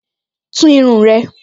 Tún irun rẹ!